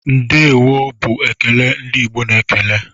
"Ndeewo" bụ ekele ndị Igbo na-ekele.